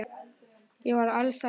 Ég var alsæl.